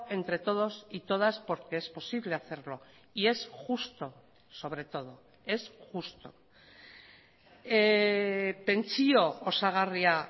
entre todos y todas porque es posible hacerlo y es justo sobre todo es justo pentsio osagarria